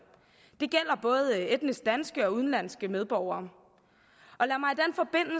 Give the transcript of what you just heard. det gælder både etnisk danske og udenlandske medborgere